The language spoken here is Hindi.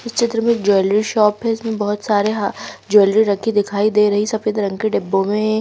इस चित्र में एक ज्वैलरी शॉप हैं इसमें बहोत सारे हा ज्वैलरी रखी दिखाई दे रही सफेद रंग के डिब्बों में--